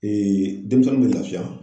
denmisɛnnin bɛ lafiya